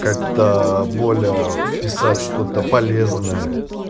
как-то более писать что-то полезное